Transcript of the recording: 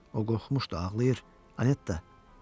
O qorxmuşdu, ağlayır, Anetta.